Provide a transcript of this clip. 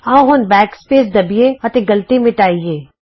ਆਉ backspace ਦਬੀਏ ਅਤੇ ਗ਼ਲਤੀ ਮਿੱਟਾਈਏ